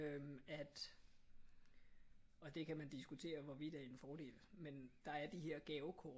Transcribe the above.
At og det kan man diskutere hvorvidt er en fordel men der er de her gavekort